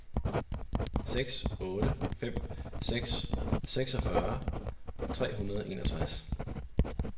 seks otte fem seks seksogfyrre tre hundrede og enogtres